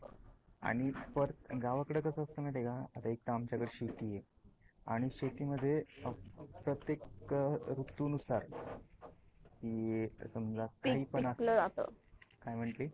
एक तर आमच्या कडे शेती आहे. आणि शेती मध्ये प्रत्येक ऋतू नुसार काय मनती?